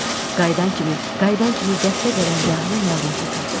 Qayıdan kimi, qayıdan kimi dəstə qərargahına məlumat ötürdüm.